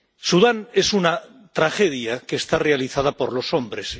Sudán es una tragedia que está realizada por los hombres.